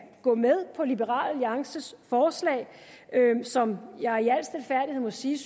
gå med på liberal alliances forslag som jeg i al stilfærdighed må sige